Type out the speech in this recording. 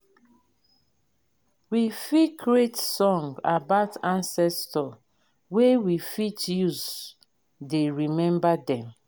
we fit create song about ancestor wey we fit use dey remember them